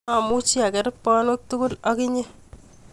Amuchi aker panwek tugul ak inye